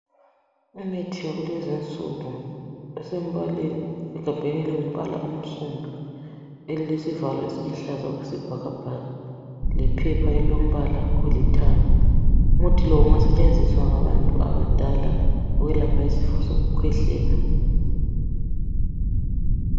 Imithi yakulezinsuku isegabheni elingumbala omsundu, elesivalo esiluhlaza okwesibhakabhaka lephepha elilombala olithanga. Umuthi lo ungasetshenziswa ngantu abadala ukwelapha isifo sokukhwehlela.